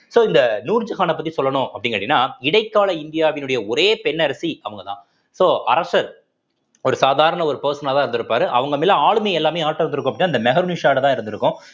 so இந்த நூர்ஜகானைப் பத்தி சொல்லணும் அப்படின்னு கேட்டீங்கன்னா இடைக்கால இந்தியாவினுடைய ஒரே பெண் அரசி அவங்கதான் so அரசர் ஒரு சாதாரண ஒரு person ஆதான் இருந்திருப்பாரு அவங்க மேல ஆளுமை எல்லாமே யார்ட்ட வந்திருக்கும் அப்படின்னா அந்த மெஹருநிஷாட்டதான் இருந்திருக்கும்